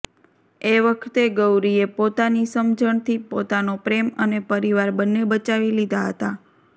એ વખતે ગૌરીએ પોતાની સમજણથી પોતાનો પ્રેમ અને પરિવાર બંને બચાવી લીધા હતા